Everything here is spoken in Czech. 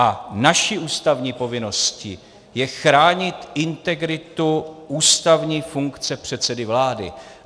A naší ústavní povinností je chránit integritu ústavní funkce předsedy vlády.